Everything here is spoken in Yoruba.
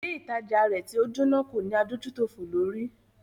Ilé ìtajà rẹ̀ tí o jóná kò ní adójútòfò lórí.